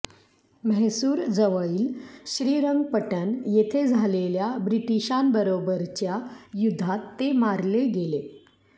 म्हैसुरजवळील श्रीरंगपटण येथे झालेल्या ब्रिटीशांबरोबरच्या युध्दात ते मारले गेले